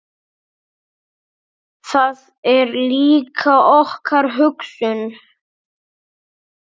Það er líka okkar hugsun.